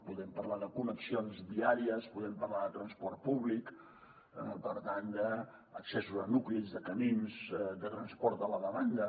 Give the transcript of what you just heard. podem parlar de connexions viàries podem parlar de transport públic per tant d’accessos a nuclis de camins de transport a la demanda